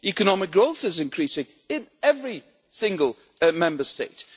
Economic growth is increasing in every single Member State.